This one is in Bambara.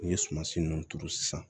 N'i ye sumansi ninnu turu sisan